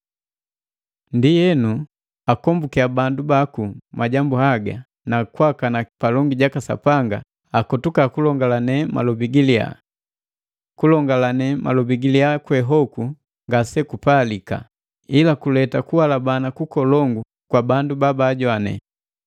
Ndienu, akombukiya bandu baku majambu haga na kukana palongi gaka Sapanga aleka ing'omu panani ja malobi. Ing'omu we hogu ngasegupalika, ila guleta kuhalabana nkolongu kwa bala babugujoa.